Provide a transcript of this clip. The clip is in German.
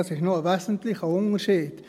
Das ist noch ein wesentlicher Unterschied.